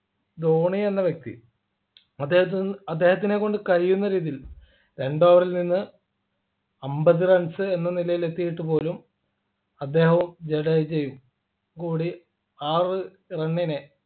ധോണി എന്ന വ്യക്തി അദ്ദേഹത്തി അദ്ദേഹത്തിനെകൊണ്ട് കഴിയുന്ന രീതിയിൽ രണ്ട് over ൽ നിന്ന് അമ്പത് runs എന്ന നിലയിൽ എത്തീട്ടു പോലും അദ്ദേഹവും ജഡേജയും കൂടി ആ ഒരു run നെ